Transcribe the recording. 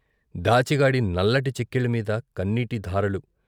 దాచిగాడి నల్లటి చక్కిళ్ళమీద కన్నీటిధారలు.